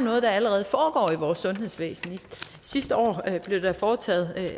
noget der allerede foregår i vores sundhedsvæsen sidste år blev der foretaget